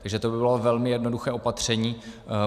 Takže to by bylo velmi jednoduché opatření.